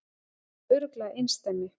Nærri örugglega einsdæmi